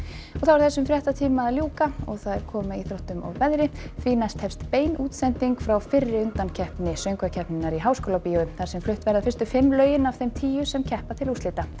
þessum fréttatíma er að ljúka og það er komið að íþróttum og veðri því næst hefst bein útsending frá fyrri undankeppni söngvakeppninnar í Háskólabíói þar sem flutt verða fyrstu fimm lögin af þeim tíu sem keppa til úrslita